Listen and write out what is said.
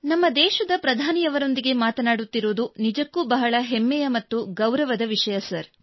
ನಮ್ಮ ದೇಶದ ಪ್ರಧಾನಿಯವರೊಂದಿಗೆ ಮಾತನಾಡುತ್ತಿರುವುದು ನಿಜಕ್ಕೂ ಬಹಳ ಹೆಮ್ಮೆಯ ಮತ್ತು ಗೌರವದ ವಿಷಯ ಸರ್